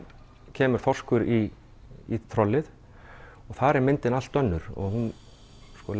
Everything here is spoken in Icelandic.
kemur þorskur í trollið og þar er myndin allt önnur og